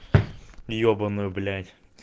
ебаную блять